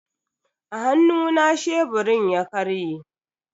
A hannuna sheburin ya karye.